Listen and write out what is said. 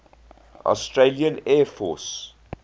australian air force